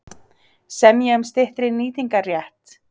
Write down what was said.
Semja um styttri nýtingarrétt